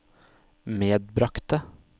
medbragte